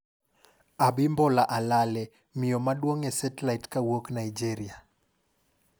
Abimbola Alale, Miyo maduong' e setlait kowuok Nigeria